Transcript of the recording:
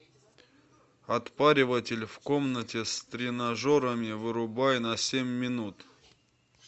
отпариватель в комнате с тренажерами вырубай на семь минут